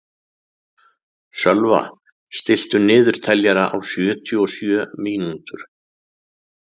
Sölva, stilltu niðurteljara á sjötíu og sjö mínútur.